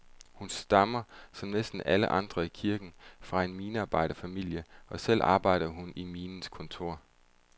Hun stammer, som næsten alle andre i kirken, fra en minearbejderfamilie, og selv arbejder hun i minens kontor.